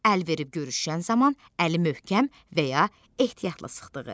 Əl verib görüşən zaman əli möhkəm və ya ehtiyatla sıxdığı.